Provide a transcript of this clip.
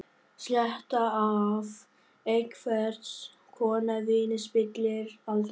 Sletta af einhvers konar víni spillir aldrei fyrir.